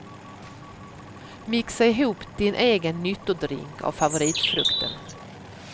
Mixa ihop din egen nyttodrink av favoritfrukten.